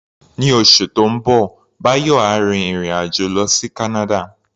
Ní oṣù tó ń bọ̀, Báyọ̀ á rin ìrìn-àjò lọ sí Canada.